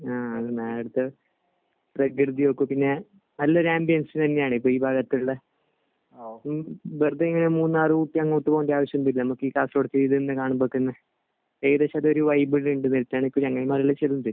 ആഹ്. പ്രകൃതികൾക്കും പിന്നെ നല്ലൊരു ആംബിയൻസ് തന്നെയാണ്. ഇപ്പോൾ ഈ ഭാഗത്ത് ഉള്ള വെറുതെ ഇങ്ങനെ മൂന്നാർ, ഊട്ടി അങ്ങോട്ട് പോകേണ്ട ആവശ്യമൊന്നും ഇല്ല. നമുക്ക് ഈ കാണുമ്പോൾ തന്നെ ഏകദേശം ഒരു വൈബ് ഒക്കെ കിട്ടും.